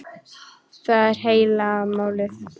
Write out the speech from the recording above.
Það er heila málið.